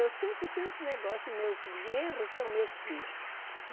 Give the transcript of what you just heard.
Eu sempre tenho esse negócio, meus genros são meus filhos.